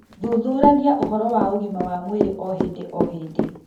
Thuthuragia ũhoro wa ũgima wa mwĩrĩ o hĩndĩ o hĩndĩ